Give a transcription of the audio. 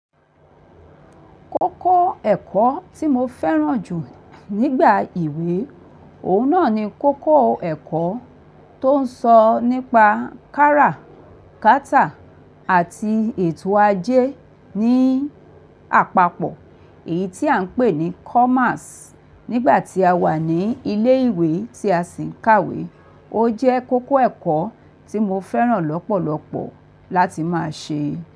Kókó ẹ̀kọ́ tí mo fẹ́ràn jù nígbà ìwé, òun náà ni kókó ẹ̀kọ́ tó ń sọ nípa kára, kátà àti ètò ajé ní àpapọ̀ èyí tí à ń pè ní Commerce nígbà tí a wà ní ilé ìwé tí a sì ń kàwé. Ó jẹ́ kókó ẹ̀kọ́ tí mo fẹ́ràn lọ́pọ̀lọpọ̀ láti máa ṣe.